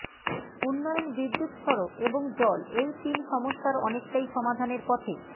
উন্নয়ন বিদ্যুত্ সড়ক এবং জল এই তিন সমস্যার অনেকটাই সমাধানের পথে